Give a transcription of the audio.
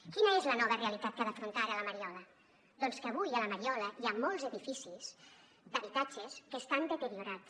quina és la nova realitat que ha d’afrontar ara la mariola doncs que avui a la mariola hi ha molts edificis d’habitatges que estan deteriorats